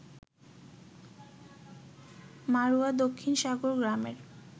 মাড়ুয়া দক্ষিণ সাগর গ্রামের